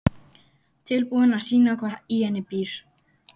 Tilbúin að sýna hvað í henni býr.